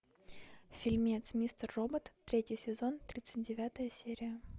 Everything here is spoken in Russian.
фильмец мистер робот третий сезон тридцать девятая серия